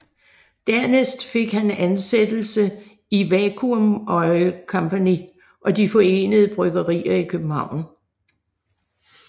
Dernæst fik han ansættelse i Vacuum Oil Company og De forenede Bryggerier i København